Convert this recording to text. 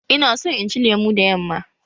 Ina son inci lemo da yamma.